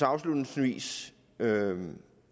afslutningsvis vil